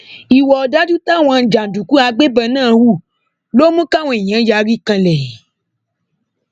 ìwà ọdájú táwọn jàǹdùkú àgbẹbọn náà hù ló mú káwọn èèyàn yarí kanlẹ